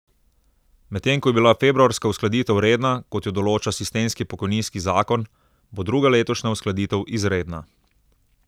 Medtem ko je bila februarska uskladitev redna, kot jo določa sistemski pokojninski zakon, bo druga letošnja uskladitev izredna.